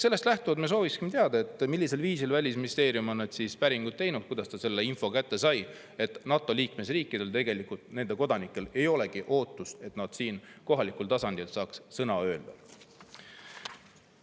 Sellest lähtuvalt me sooviksime teada, millisel viisil Välisministeerium on need päringud teinud, kuidas ta selle info kätte sai, et NATO liikmesriikide kodanikel ei olegi ootust, et nad saaksid siin kohalikul tasandil sõna öelda.